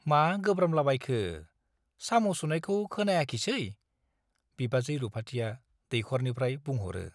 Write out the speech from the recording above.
मा गोब्रामदला बायखो ? साम ' सुनायखौ खोनायाखिसै ? बिबाजै रुपाथिया दैख'रनिफ्राय बुंह ' रो ।